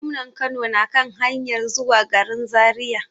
Gwamnan Kano na kan hanyar zuwa garin Zariya.